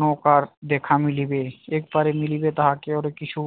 নৌকার দেখা মিলিবে তাকে এপারে মিলিবে তাহাকে আরো কিছু